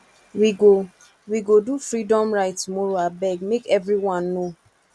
we go we go do freedom ride tomorrowabeg make everyone know